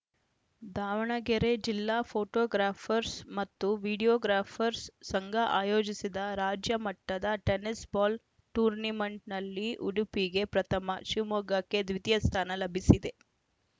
ದಾವಣಗೆರೆ ಜಿಲ್ಲಾ ಫೋಟೋಗ್ರಾಫರ್‍ಸ್ ಮತ್ತು ವೀಡಿಯೋಗ್ರಾಫರ್‍ಸ್ ಸಂಘ ಆಯೋಜಿಸಿದ ರಾಜ್ಯಮಟ್ಟದ ಟೆನ್ನಿಸ್‌ ಬಾಲ್‌ ಟೂರ್ನಿಮೆಂಟ್‌ನಲ್ಲಿ ಉಡುಪಿಗೆ ಪ್ರಥಮ ಶಿವಮೊಗ್ಗಕ್ಕೆ ದ್ವಿತೀಯ ಸ್ಥಾನ ಲಭಿಸಿದೆ